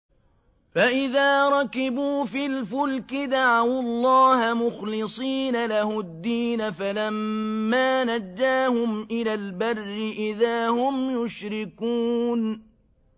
فَإِذَا رَكِبُوا فِي الْفُلْكِ دَعَوُا اللَّهَ مُخْلِصِينَ لَهُ الدِّينَ فَلَمَّا نَجَّاهُمْ إِلَى الْبَرِّ إِذَا هُمْ يُشْرِكُونَ